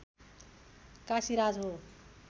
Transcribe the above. काशीराज हो